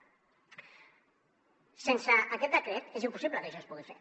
sense aquest decret és impossible que això es pugui fer